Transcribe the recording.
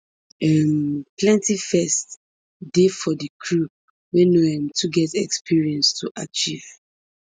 um plenty firsts dey for di crew wey no um too get experience to achieve